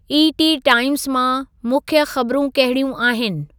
ET. Times मां मुख़्य ख़बरूं कहड़ियूं आहिनि